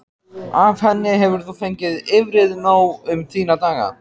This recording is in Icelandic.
Af henni hefur þú fengið yfrið nóg um þína daga.